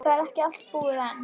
Það er ekki allt búið enn.